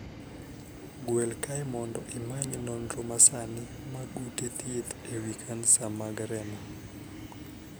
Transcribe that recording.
Gwel kae mondo imany nonro masani mag ute thieth e wii kansa mar remo.